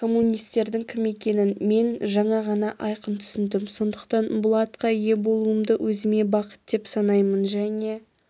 коммунистердің кім екенін мен жаңа ғана айқын түсіндім сондықтан бұл атқа ие болуымды өзіме бақыт деп санаймын және